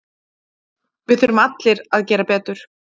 Við þurfum allir að gera betur.